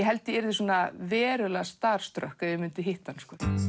held ég yrði verulega starstruck ef ég myndi hitta hann